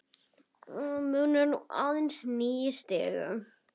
Munar nú aðeins níu stigum.